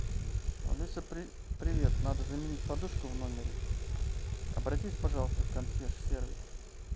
алиса привет надо заменить подушку в номере обратись пожалуйста в консьерж сервис